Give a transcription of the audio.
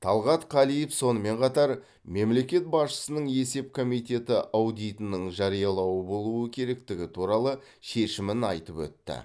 талғат қалиев сонымен қатар мемлекет басшысының есеп комитеті аудитінің жариялы болуы керектігі туралы шешімін айтып өтті